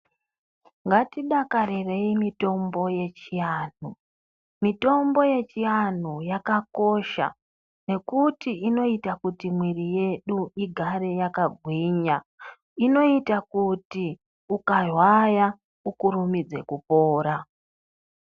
Ngatidakarirei mitombo yechiantu. Mitombo yechiantu yakakosha nekuti inoita kuti mwiri yedu igare yakagwinya inoita kuti ukarwara ukurumirze kupora.